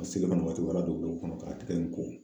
A selen kɔni waati la u kɔnɔ k'a tɛgɛ in ko.